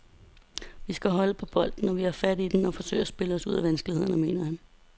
Vi skal holde på bolden, når vi får fat i den, og forsøge at spille os ud af vanskelighederne, mener han.